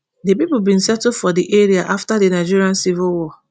di pipo bin settle for di area afta di nigerian civil war